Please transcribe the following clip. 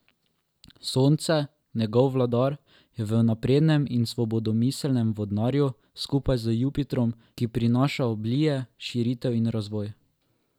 Sonce, njegov vladar, je v naprednem in svobodomiselnem vodnarju, skupaj z Jupitrom, ki prinaša oblije, širitev in razvoj.